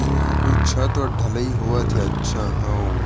इहा कोई छत वत ढलाई होवत हे अच्छा हओ ।